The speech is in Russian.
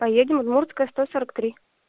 поедем удмуртская сто сорок три